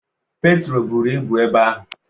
Petro buru ibu ebe ahụ.